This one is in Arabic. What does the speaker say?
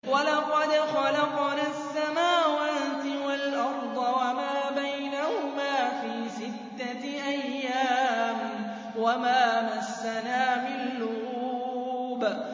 وَلَقَدْ خَلَقْنَا السَّمَاوَاتِ وَالْأَرْضَ وَمَا بَيْنَهُمَا فِي سِتَّةِ أَيَّامٍ وَمَا مَسَّنَا مِن لُّغُوبٍ